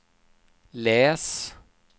läs